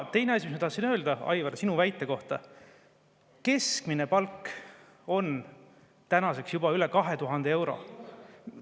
Teine asi, mida ma tahtsin öelda, on, Aivar, sinu väite kohta: keskmine palk on tänaseks juba üle 2000 euro.